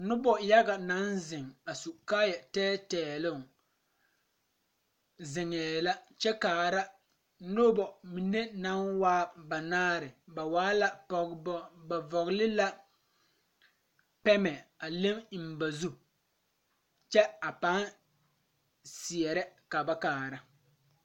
Nobɔ yaga naŋ zeŋ a su kaayɛ tɛɛtɛɛloŋ zeŋɛɛ la kyɛ kaa nobɔ mine naŋ waa banaare ba waa la pɔgebɔ ba vɔgle la pɛmɛ a le eŋ ba zu kyɛ a paa seɛrɛ ka ba kaara.